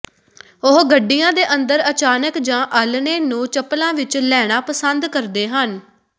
ਉਹ ਗੱਡੀਆਂ ਦੇ ਅੰਦਰ ਅਚਾਨਕ ਜਾਂ ਆਲ੍ਹਣੇ ਨੂੰ ਚੱਪਲਾਂ ਵਿਚ ਲੈਣਾ ਪਸੰਦ ਕਰਦੇ ਹਨ